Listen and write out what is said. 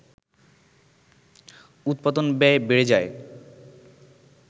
উৎপাদন ব্যয় বেড়ে যায়